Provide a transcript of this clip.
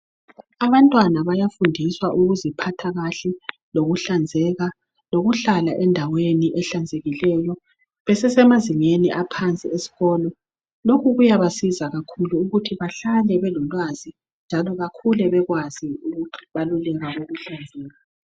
Abantwana bayafundiswa ukuziphathakahle lokuhlanzeka lokuhlala endaweni ehlanzekileyo besesemazingeni aphasi esikolo lokhu kuyabasiza kakhulu ukuthi bahlale belolwazi njalo bakhule bekwazi ukuthi balilunga elihlanzekileyo.